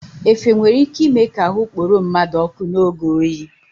Efe nwere ị́ké ịme ka ahụ kporo mmadụ ọ́kụ́ n'oge oyi.